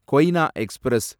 Koyna express